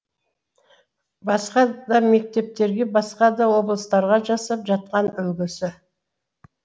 басқа да мектептерге басқа да облыстарға жасап жатқан үлгісі